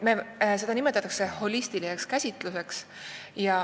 Seda nimetatakse holistiliseks käsitluseks.